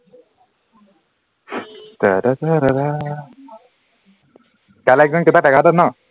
কাইলে train কেইটাত এঘাৰ তাত ন